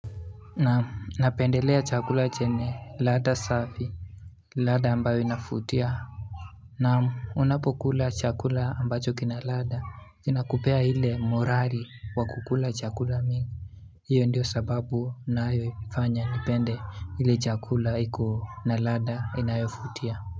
Namu, napendelea chakula chenye lada safi Lada ambayo inafutia Namu, unapokula chakula ambacho kina lada ina kupea hile morali wa kukula chakula mingi Iyo ndiyo sababu naayo ifanya nipende hile chakula iko na lada inayofutia.